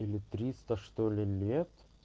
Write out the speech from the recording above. или триста что-ли лет